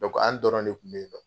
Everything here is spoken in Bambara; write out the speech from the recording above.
an dɔrɔn de kunbɛ yennɔ.